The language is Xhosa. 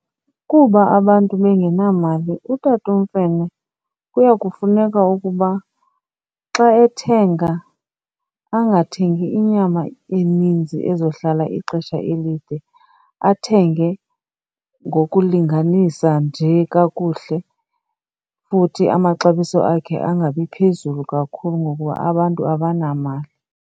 Kuba abantu bengenamali uTatuMfene kuya kufuneka ukuba xa ethenga angathengi inyama eninzi ezohlala ixesha elide, athenge ngokulinganisa nje kakuhle. Futhi amaxabiso akhe angabi phezulu kakhulu ngokuba abantu abanamali.